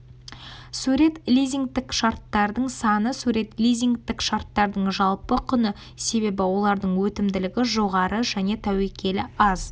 сурет лизингтік шарттардың саны сурет лизингтік шарттардың жалпы құны себебі олардың өтімділігі жоғары және тәуекелі аз